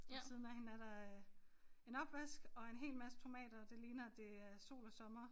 Og ved siden af hende er der øh en opvask og en hel masse tomater det ligner det er sol og sommer